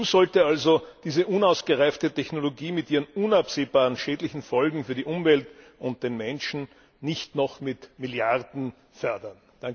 Die EU sollte also diese unausgereifte Technologie mit ihren unabsehbaren schädlichen Folgen für die Umwelt und den Menschen nicht noch mit Milliarden fördern!